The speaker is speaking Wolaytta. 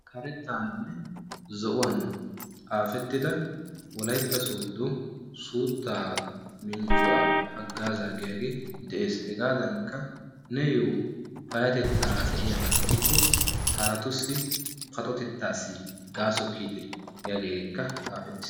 karetaaninne zo'uwan xaafettida wolaytta soodo suuttaa minjjuwa hagaazaa giyaagee de'ees, hegaadankka neeyoo payatettaara de'iyaba gidikko haratussi paxotetaassi gaso kiyitte giyaagee xaafettiis.